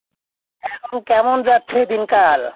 এখন কেমন যাচ্ছে দিনকাল?